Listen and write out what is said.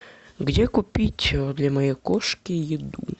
где купить для моей кошки еду